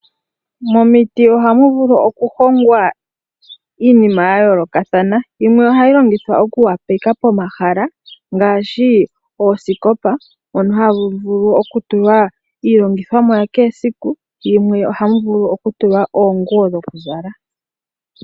Momiti ohamu vulu okuhongwa iinima ya yoolokathana, yimwe ohayi longithwa okupoleka pomahala ngaashi oosikopa mono hamu vulu okutulwa iilongithomwa ya kehe esiku, yimwe ohamu vulu okutulwa oonguwo dhokuzala.